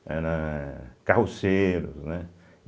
Era... carroceiros, né?